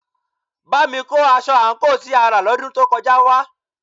Bámi kó aṣọ àǹkóò tí a rà lọ́dún tó kọjá wá